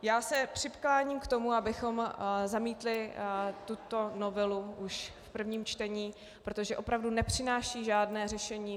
Já se přikláním k tomu, abychom zamítli tuto novelu už v prvním čtení, protože opravdu nepřináší žádné řešení.